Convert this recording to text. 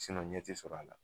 ɲɛ ti sɔrɔ a la